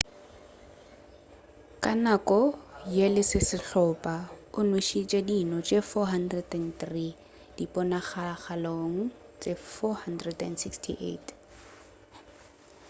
ka nako ye le sehlopha o nwešitše dino tše 403 diponagalong tše 468